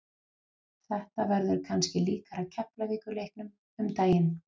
Þetta verður kannski líkara Keflavíkur leiknum um daginn.